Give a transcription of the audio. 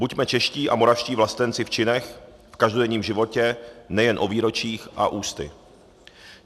Buďme čeští a moravští vlastenci v činech, v každodenním životě nejen o výročích a ústy.